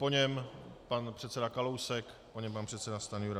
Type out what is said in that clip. Po něm pan předseda Kalousek, po něm pan předseda Stanjura.